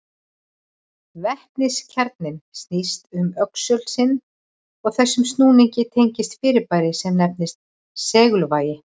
Vetniskjarninn snýst um öxul sinn og þessum snúningi tengist fyrirbæri sem nefnist segulvægi.